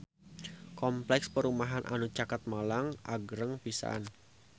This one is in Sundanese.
Kompleks perumahan anu caket Malang agreng pisan